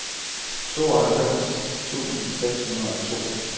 tooghalvfems tusind seks hundrede og to